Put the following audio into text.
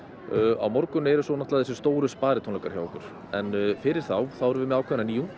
á morgun eru svo þessir stóru sparitónleikar hjá okkur en fyrir þá erum við með ákveðna nýjung